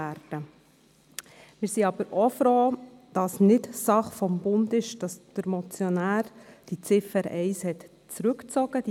Wir sind aber auch froh, dass es nicht die Sache des Bundes ist und dass der Motionär die Ziffer 1 zurückgezogen hat.